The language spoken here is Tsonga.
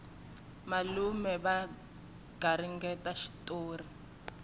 malume va garingeta xitori